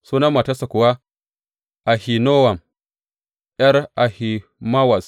Sunan matarsa kuwa Ahinowam, ’yar Ahimawaz.